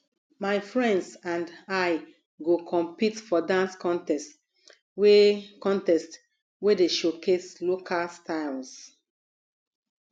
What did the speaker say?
my friends and i go compete for dance contest wey contest wey dey showcase local styles